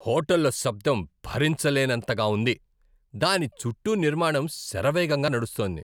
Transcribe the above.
హోటల్లో శబ్దం భరించలేనంతగా ఉంది, దాని చుట్టూ నిర్మాణం శరవేగంగా నడుస్తోంది.